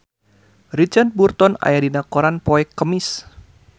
Richard Burton aya dina koran poe Kemis